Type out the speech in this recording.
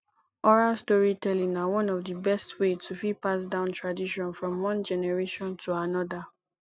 oral storytelling na one of di best way to fit pass down tradition from one generation to another